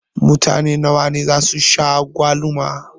Mutane nawa ne zasu sha agwaluma?